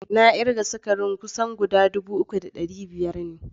Na kirga sukarin kusan guda 3500 ne.